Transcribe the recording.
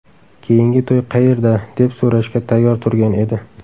Keyingi to‘y qayerda?”, deb so‘rashga tayyor turgan edi.